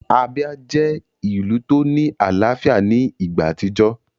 Abia jẹ́ ìlù tó ní àlàáfíà ní ìgbà àtijọ́